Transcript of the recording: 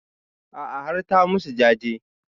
A'a har ta musu jaje